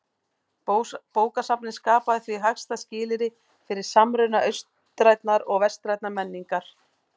Bókasafnið skapaði því hagstæð skilyrði fyrir samruna austrænnar og vestrænnar menningar.